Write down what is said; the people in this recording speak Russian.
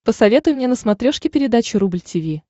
посоветуй мне на смотрешке передачу рубль ти ви